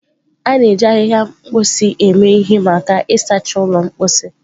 A na-eji ahịhịa mposi eme ihe maka ịsacha ụlọ mposi.